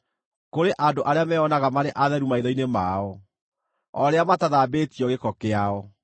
kũrĩ andũ arĩa meyonaga marĩ atheru maitho-inĩ mao, o rĩrĩa matathambĩtio gĩko kĩao;